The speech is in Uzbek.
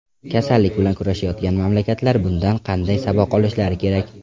Kasallik bilan kurashayotgan mamlakatlar bundan qanday saboq olishlari kerak?